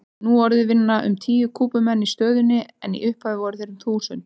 Nú orðið vinna um tíu Kúbumenn í stöðinni en í upphafi voru þeir um þúsund.